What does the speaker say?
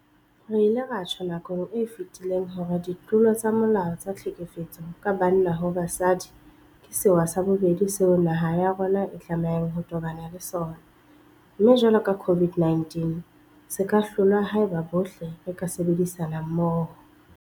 Re ile ra tjho nakong e fetileng hore ditlolo tsa molao tsa tlhekefetso ka banna ho basadi ke sewa sa bobedi seo naha ya rona e tlamehang ho tobana le sona, mme jwalo ka COVID-19 se ka hlolwa haeba bohle re ka sebedisana mmoho.